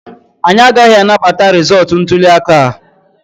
Anyị agaghị anabata rịzọọtụ ntuli aka a.